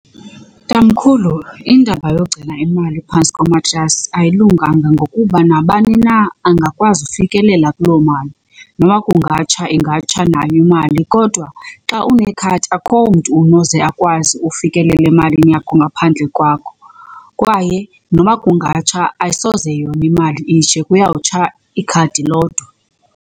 Tamkhulu, indaba yogcina imali phantsi komatrasi ayilunganga ngokuba nabani na angakwazi ufikelela kuloo mali noba kungatsha ingatsha nayo imali. Kodwa xa unekhadi akho mntu unoze akwazi ufikelela emalini yakho ngaphandle kwakho kwaye noba kungatsha, ayisoze yona imali itshe kuyawutsha ikhadi lodwa.